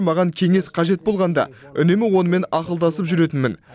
маған кеңес қажет болғанда үнемі онымен ақылдасып жүретінмін